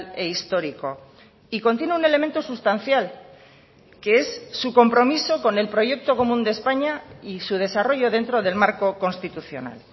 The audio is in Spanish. e histórico y contiene un elemento sustancial que es su compromiso con el proyecto común de españa y su desarrollo dentro del marco constitucional